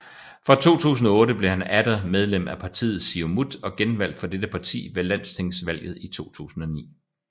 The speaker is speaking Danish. Fra 2008 blev han atter medlem af partiet Siumut og genvalgt for dette parti ved landstingsvalget i 2009